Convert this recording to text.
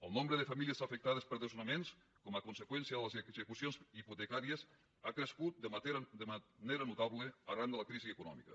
el nombre de famílies afectades per desnonaments com a conseqüència de les execucions hipotecàries ha crescut de manera notable arran de la crisi econòmica